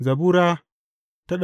Zabura Sura